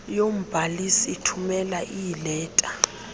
yombhalisi ithumela iileta